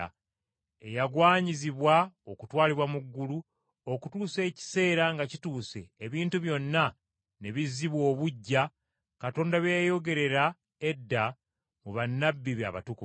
eyagwanyizibwa okutwalibwa mu ggulu okutuusa ekiseera nga kituuse ebintu byonna ne bizzibwa obuggya Katonda bye yayogerera edda mu bannabbi be abatukuvu.